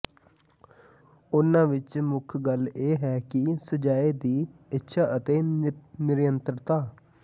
ਉਨ੍ਹਾਂ ਵਿਚ ਮੁੱਖ ਗੱਲ ਇਹ ਹੈ ਕਿ ਸਜ਼ਾਏ ਦੀ ਇੱਛਾ ਅਤੇ ਨਿਰੰਤਰਤਾ